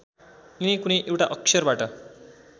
यिनै कुनै एउटा अक्षरबाट